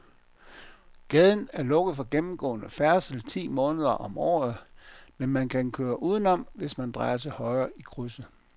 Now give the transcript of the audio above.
Gaden er lukket for gennemgående færdsel ti måneder om året, men man kan køre udenom, hvis man drejer til højre i krydset.